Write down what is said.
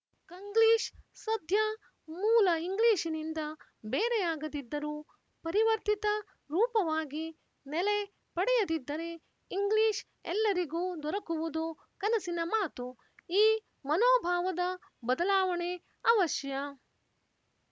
ಕಂಗ್ಲೀಶ್ ಸದ್ಯ ಮೂಲ ಇಂಗ್ಲಿಶಿನಿಂದ ಬೇರೆಯಾಗದಿದ್ದರೂ ಪರಿವರ್ತಿತ ರೂಪವಾಗಿ ನೆಲೆ ಪಡೆಯದಿದ್ದರೆ ಇಂಗ್ಲೀಷ್ ಎಲ್ಲರಿಗೂ ದೊರಕುವುದು ಕನಸಿನ ಮಾತು ಈ ಮನೋಭಾವದ ಬದಲಾವಣೆ ಅವಶ್ಯ